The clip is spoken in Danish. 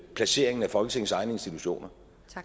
placeringen af folketingets egne institutioner